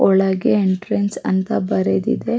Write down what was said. ಒಳಗೆ ಎಂಟ್ರನ್ಸ್ ಅಂತ ಬರೆದಿದೆ.